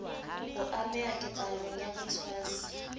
ho ameha ketsahalong ya botshwasi